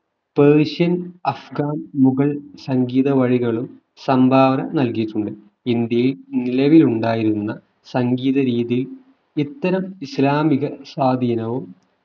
Persian Afghan Mughal സംഗീത വഴികളും സംഭാവന നൽകിയിട്ടുണ്ട് ഇന്ത്യയിൽ നിലവിലുണ്ടായിരുന്ന സംഗീത രീതി ഇത്തരം ഇസ്ലാമിക സ്വാധീനവും